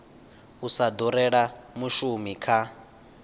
u sa durela mushumi kha